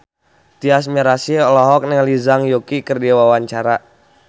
Tyas Mirasih olohok ningali Zhang Yuqi keur diwawancara